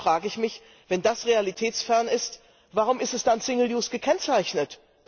Dann frage ich mich, wenn das realitätsfern ist, warum ist es dann single use gekennzeichnet?